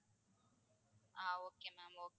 Ah okay ma'am okay.